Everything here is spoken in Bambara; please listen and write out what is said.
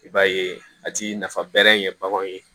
I b'a ye a ti nafa bɛrɛ ɲɛ baganw ye